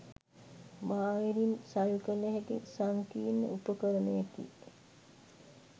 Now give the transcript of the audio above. බාහිරින් සවිකළ හැකි සංකීර්ණ උපකරණයකි